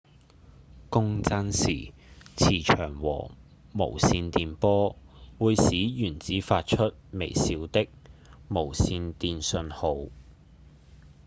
共振時磁場和無線電波會使原子發出微小的無線電信號